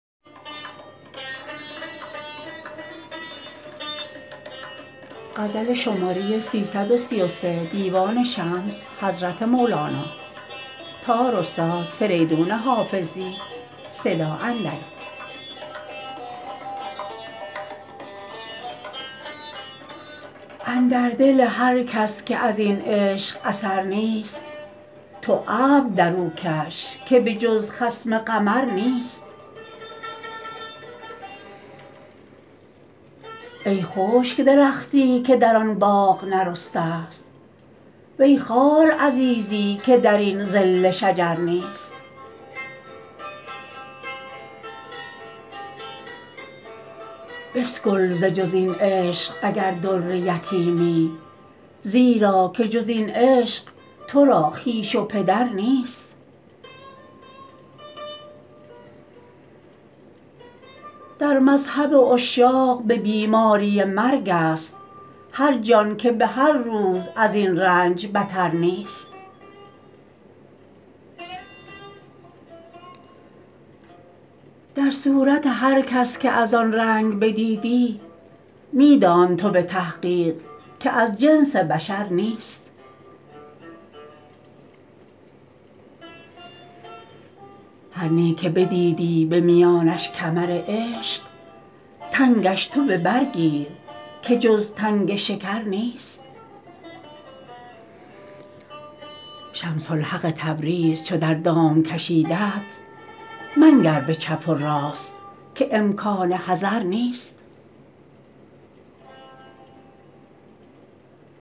اندر دل هر کس که از این عشق اثر نیست تو ابر در او کش که به جز خصم قمر نیست ای خشک درختی که در آن باغ نرسته ست وی خوار عزیزی که در این ظل شجر نیست بسکل ز جز این عشق اگر در یتیمی زیرا که جز این عشق تو را خویش و پدر نیست در مذهب عشاق به بیماری مرگست هر جان که به هر روز از این رنج بتر نیست در صورت هر کس که از آن رنگ بدیدی می دان تو به تحقیق که از جنس بشر نیست هر نی که بدیدی به میانش کمر عشق تنگش تو به بر گیر که جز تنگ شکر نیست شمس الحق تبریز چو در دام کشیدت منگر به چپ و راست که امکان حذر نیست